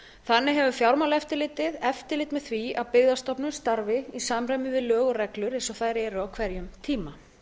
þannig hefur fjármálaeftirlitið eftirlit með því að byggðastofnun starfi í samræmi við lög og reglur eins og þær eru á hverjum tíma